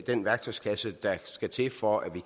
den værktøjskasse der skal til for at vi